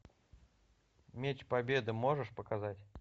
меч победы можешь показать